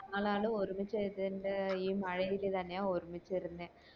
ഞങ്ങളാണ് ഒരുമിച്ച് ഇതിൻറെ ഈ മഴ ഇത് തന്നെയാ ഒരുമിച്ച് ഇർന്നെ